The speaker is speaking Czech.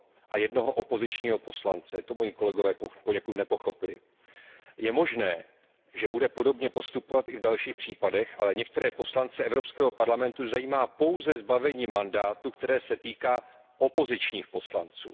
a jednoho opozičního poslance, to moji kolegové poněkud nepochopili. Je možné, že bude podobně postupovat i v dalších případech, ale některé poslance Evropského parlamentu zajímá pouze zbavení mandátu, které se týká opozičních poslanců.